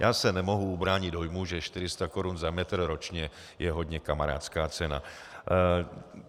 Já se nemohu ubránit dojmu, že 400 korun za metr ročně je hodně kamarádská cena.